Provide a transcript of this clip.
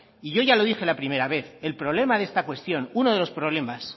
y yo ya lo dije la primera vez el problema de esta cuestión uno de los problemas